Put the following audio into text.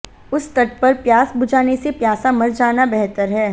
उस तट पर प्यास बुझाने से प्यासा मर जाना बेहतर है